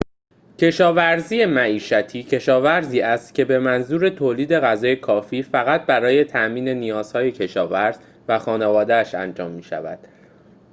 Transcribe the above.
کشاورزی معیشتی کشاورزی است که به منظور تولید غذای کافی فقط برای تأمین نیازهای کشاورز و خانواده‌اش انجام می‌شود